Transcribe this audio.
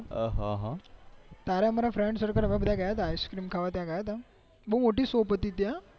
તારા મારા friend circle અમે બધા ગયા તા ice cream ખાવા ત્યાં ગયા ત્યાં